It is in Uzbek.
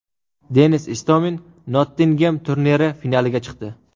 Denis Istomin Nottingem turniri finaliga chiqdi.